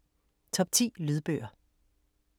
Top 10 lydbøger